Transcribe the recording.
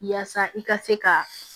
Yaasa i ka se ka